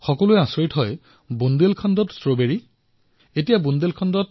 সকলো আচৰিত হৈছে বুন্দেলখণ্ডত ষ্ট্ৰবেৰী কিন্তু এয়াই সত্য